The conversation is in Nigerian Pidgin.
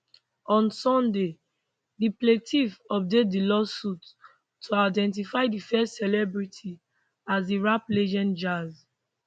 on sunday di plaintiff update di lawsuit to identity di first celebrity as di rap legend jayz